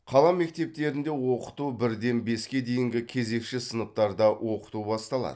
қала мектептерінде оқыту бірден беске дейінгі кезекші сыныптарда оқыту басталады